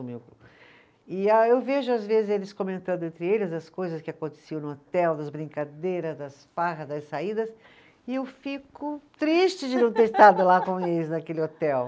E ah, eu vejo às vezes eles comentando entre eles as coisas que aconteciam no hotel, das brincadeiras, das farras, das saídas, e eu fico triste de não ter estado lá com eles naquele hotel.